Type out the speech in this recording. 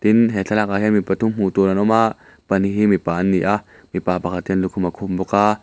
tin he thlalakah hian mi pathum hmuh tur an awm a pahnih hi mipa an ni a pakhat hian lukhum a khum bawk a.